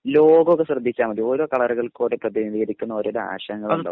logo ഒക്കെ ശ്രദ്ധിച്ചാ മതി ഓരോ കളറുകൾക്കും പ്രദിനീകരിക്കുന്ന ഓരോരോ ആശയങ്ങൾ ഉണ്ടാവും